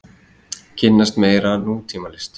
Kynnast meira nútímalist.